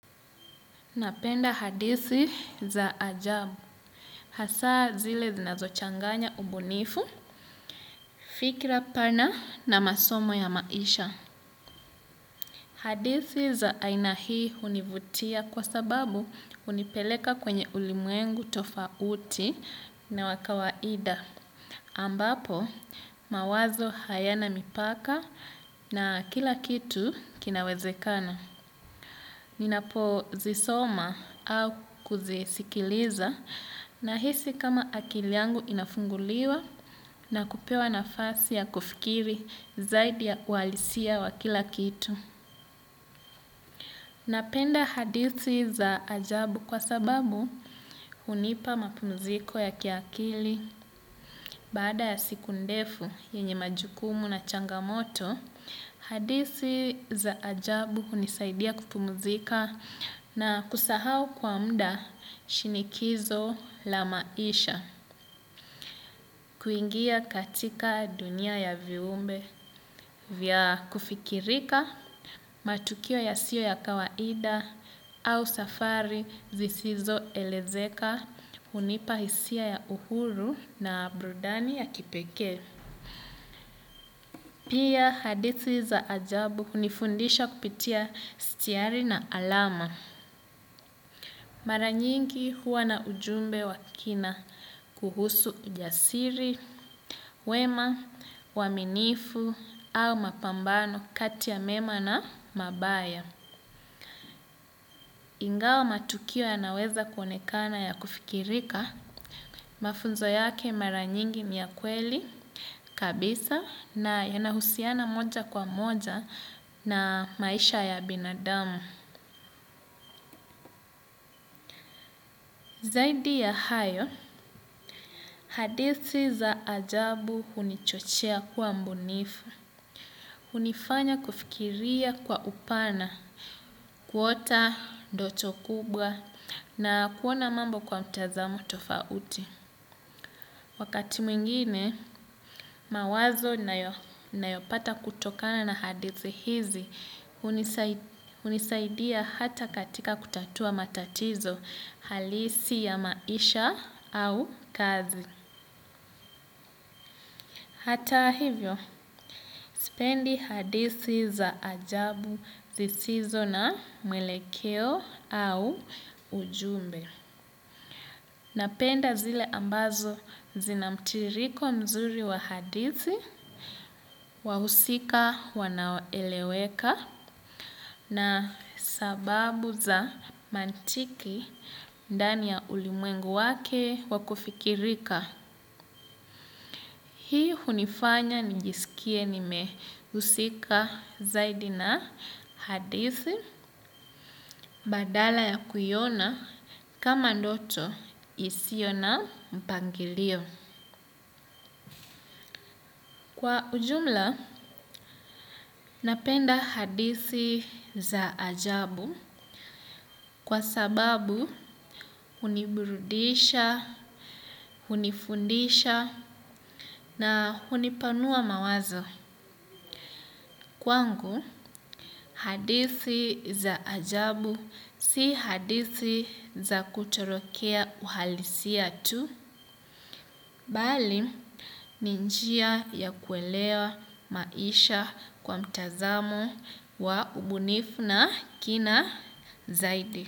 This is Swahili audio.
Napenda hadithi za ajabu, hasaa zile zinazochanganya ubunifu, fikira pana na masomo ya maisha. Hadithi za aina hii hunivutia kwa sababu hunipeleka kwenye ulimwengu tofauti na wa kawaida. Ambapo, mawazo hayana mipaka na kila kitu kinawezekana. Ninapozisoma au kuzisikiliza na hisi kama akili yangu inafunguliwa na kupewa nafasi ya kufikiri zaidi ya uhalisia wa kila kitu. Napenda hadithi za ajabu kwa sababu hunipa mapumziko ya kiakili. Baada ya siku ndefu yenye majukumu na changamoto, hadithi za ajabu hunisaidia kupumzika na kusahau kwa muda shinikizo la maisha. Kuingia katika dunia ya viumbe vya kufikirika matukio yasiyo ya kawaida au safari zisizo elezeka hunipa hisia ya uhuru na burudani ya kipekee. Pia hadithi za ajabu hunifundisha kupitia sitiari na alama. Mara nyingi huwa na ujumbe wa kina kuhusu ujasiri, wema, uaminifu au mapambano kati ya mema na mabaya. Ingawa matukio yanaweza kuonekana ya kufikirika mafunzo yake mara nyingi ni ya kweli kabisa na yanahusiana moja kwa moja na maisha ya binadamu. Zaidi ya hayo, hadithi za ajabu hunichochea kuwa mbunifu. Hunifanya kufikiria kwa upana, kuota, ndoto kubwa, na kuona mambo kwa mtazamo tofauti. Wakati mwingine, mawazo ninayopata kutokana na hadithi hizi, hunisaidia hata katika kutatua matatizo halisi ya maisha au kazi. Hata hivyo, sipendi hadithi za ajabu zisizo na mwelekeo au ujumbe. Napenda zile ambazo zinamtiririko mzuri wa hadithi, wahusika wanaoeleweka na sababu za mantiki ndani ya ulimwengu wake wakufikirika. Hii hunifanya nijisikie nimehusika zaidi na hadithi badala ya kuiona kama ndoto isiyo na mpangilio. Kwa ujumla, napenda hadithi za ajabu kwa sababu huniburudisha, hunifundisha na hunipanua mawazo. Kwangu, hadithi za ajabu si hadithi za kutorokea uhalisia tu, bali ni njia ya kuelewa maisha kwa mtazamo wa ubunifu na kina zaidi.